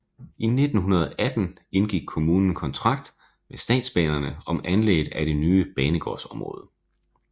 I 1918 indgik kommunen kontrakt med statsbanerne om anlægget af det nye banegårdsområde